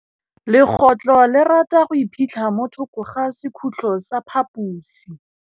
Legôtlô le rata go iphitlha mo thokô ga sekhutlo sa phaposi.